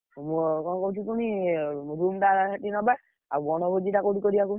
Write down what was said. ଇଏ କଣ କହୁଚି କହନି room ଟା ସେଠି ନବା, ଆଉ ବଣଭୋଜି ଟା କୋଉଠି କରିଆ କହନି।